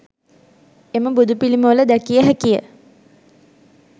එම බුදුපිළිමවල දැකිය හැකිය.